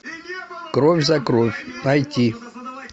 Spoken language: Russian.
кровь за кровь найти